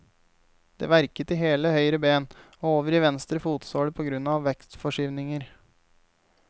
Det verket i hele høyre ben, og over i venstre fotsåle på grunn av vektforskyvninger.